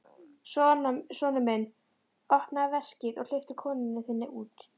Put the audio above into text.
Sonur minn, opnaðu veskið og hleyptu konunni þinni út!